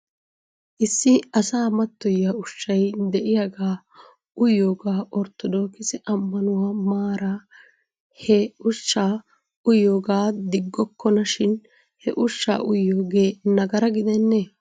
Issi asaa mattoyiyaa ushshay de'iyaagaa uyiyoogaa orttodookise ammanuwaa maaran he ushshaa uyiyoogaa diggokkona shin he ushshaa uyiyoogee nagara gidennee ?